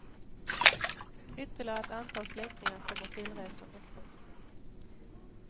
Ytterligare ett antal släktingar kommer tillresande.